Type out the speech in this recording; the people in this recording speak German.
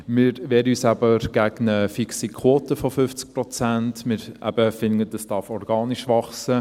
Wir wehren uns gegen eine fixe Quote von 50 Prozent und finden eben, dies dürfe organisch wachsen.